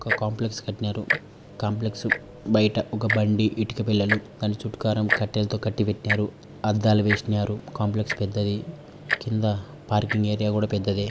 ఒక కాంప్లెక్స్ కట్టినారు కాంప్లెక్స్ బయట ఒక బండి ఇటుక బిల్లలు దాని చుట్కరం కట్టెలతో కట్టి పెట్టారు అద్దాలు వేసినారు కాంప్లెక్స్ పెద్దది కింద పార్కింగ్ ఏరియా కూడా పెద్దదే.